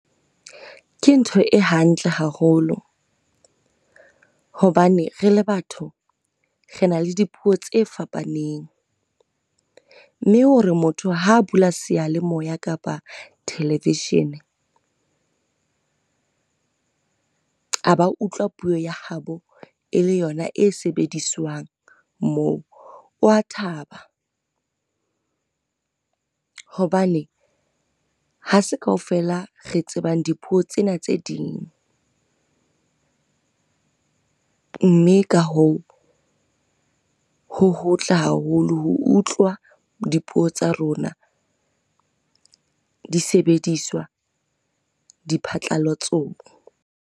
Ke ntho e hantle haholo, hobane re le batho re na le di puo tse fapaneng, mme hore motho ha bula seyalemoya kapa televishini, a ba utlwa puo ya habo e le yona e sebediswang moo. O a thaba, hobane hase kaofela re tsebang di puo tsena tse ding. Mme ka hoo, ho hotle haholo ho utlwa di puo tsa rona di sebediswa di phatlalatsong.